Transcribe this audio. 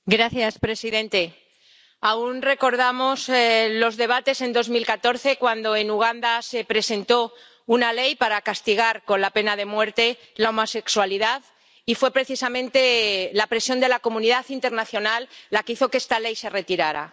Señor presidente, aun recordamos los debates en 2014 cuando en Uganda se presentó una ley para castigar con la pena de muerte la homosexualidad y fue precisamente la presión de la comunidad internacional la que hizo que esta ley se retirara.